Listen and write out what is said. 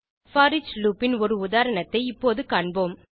foreach loop ன் ஒரு உதாரணத்தை இப்போது காண்போம்